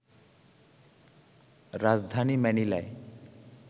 রাজধানী ম্যানিলায়